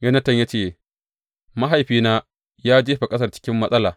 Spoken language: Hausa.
Yonatan ya ce, Mahaifina ya jefa ƙasar cikin matsala.